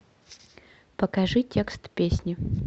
покажи текст песни